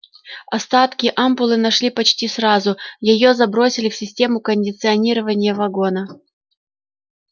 остатки ампулы нашли почти сразу её забросили в систему кондиционирования вагона